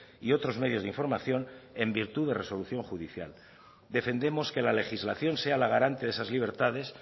y otros medios de información en virtud de resolución judicial defendemos que la legislación sea la garante de esas libertades